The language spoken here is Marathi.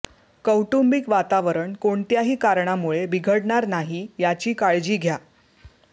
कौटुंबिक वातावरण कोणत्याही कारणामुळे बिघडणार नाही याची काळजी घ्या